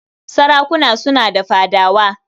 Sarakuna suna da fadawa.